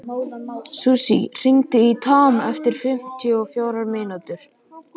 Susie, hringdu í Tom eftir fimmtíu og fjórar mínútur.